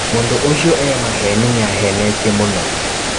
Mũndũ ũcio e maheni nĩ ahenetie mũno.